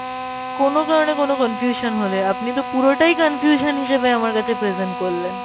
কোনো কারণে কোনো confusion হলে আপনি তো পুরোটাই confusion হিসাবে আমার কাছে present করলেন